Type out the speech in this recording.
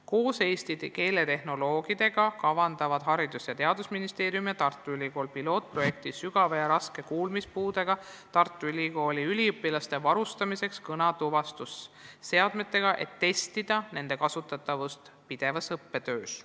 Koos eesti keele tehnoloogidega kavandavad Haridus- ja Teadusministeerium ning Tartu Ülikool pilootprojekti sügava ja raske kuulmispuudega Tartu Ülikooli üliõpilaste varustamiseks kõnetuvastusseadmetega, et testida nende kasutatavust pidevas õppetöös.